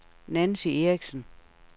Nancy Eriksen